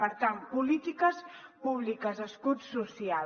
per tant polítiques públiques escut social